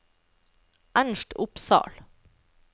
Ernst Opsahl